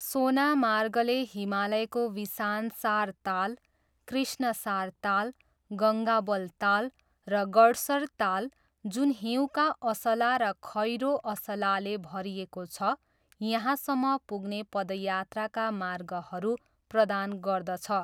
सोनामार्गले हिमालयको विसानसार ताल, कृष्णसार ताल, गङ्गाबल ताल र गड्सर ताल, जुन हिउँका असाला र खैरो असालाले भरिएको छ, यहाँसम्म पुग्ने पदयात्राका मार्गहरू प्रदान गर्दछ।